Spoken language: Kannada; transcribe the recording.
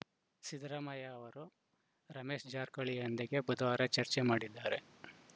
ಸಿದ್ದರಾಮಯ್ಯ ಅವರು ರಮೇಶ ಜಾರಕಿಹೊಳಿಯೊಂದಿಗೆ ಬುಧವಾರ ಚರ್ಚೆ ಮಾಡಿದ್ದಾರೆ